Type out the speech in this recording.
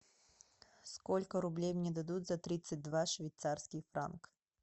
сколько рублей мне дадут за тридцать два швейцарских франка